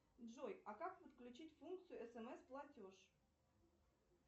джой а как подключить функцию смс платеж